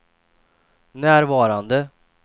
närvarande